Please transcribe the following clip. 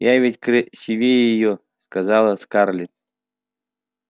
я ведь красивее её сказала скарлетт